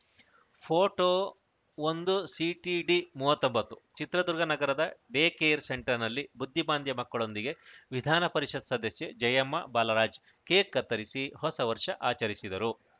photo ಒಂದುಸಿಟಿಡಿ ಮೂವತ್ತೊಂಬತ್ತು ಚಿತ್ರದುರ್ಗ ನಗರದ ಡೇಕೇರ್‌ ಸೆಂಟರ್‌ನಲ್ಲಿ ಬುದ್ಧಿಮಾಂದ್ಯ ಮಕ್ಕಳೊಂದಿಗೆ ವಿಧಾನ ಪರಿಷತ್‌ ಸದಸ್ಯೆ ಜಯಮ್ಮ ಬಾಲರಾಜ್‌ ಕೇಕ್‌ ಕತ್ತರಿಸಿ ಹೊಸ ವರ್ಷ ಆಚರಿಸಿದರು